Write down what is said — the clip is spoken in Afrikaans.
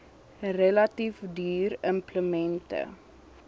relatief duur implemente